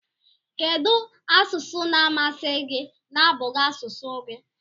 Kedu asụsụ na amasi gi na abughi asụsụ gi?